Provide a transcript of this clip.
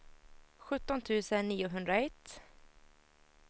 sjutton tusen niohundraett